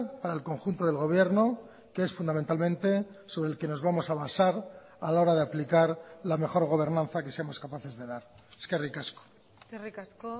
para el conjunto del gobierno que es fundamentalmente sobre el que nos vamos a basar a la hora de aplicar la mejor gobernanza que seamos capaces de dar eskerrik asko eskerrik asko